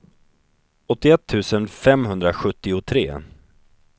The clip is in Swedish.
åttioett tusen femhundrasjuttiotre